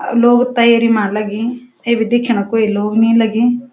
अ लोग तैयारी मा लगीं अबि दिख्याणु क्वि लोग नि लगीं।